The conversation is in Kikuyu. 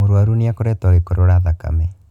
Mũrũaru nĩ akoretwo agĩkorora thakame.